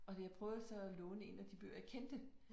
Og det jeg prøvede så at låne 1 af de bøger jeg kendte